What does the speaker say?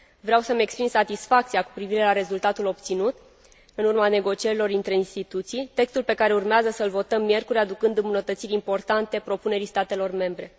Vreau să îmi exprim satisfacția cu privire la rezultatul obținut în urma negocierilor dintre instituții, textul pe care urmează să îl votăm miercuri aducând îmbunătățiri importante propunerii statelor membre.